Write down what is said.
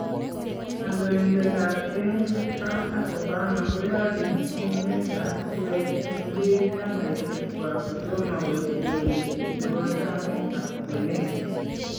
Kandoindetab emeet Trump ak Obama koyachin someetab kureet en biik chamaisyeek kwaak kotomo koit lewenisyeet nebo taamitab kweenet.